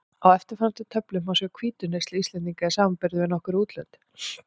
Á eftirfarandi töflu má sjá hvítuneyslu Íslendinga í samanburði við nokkur útlönd.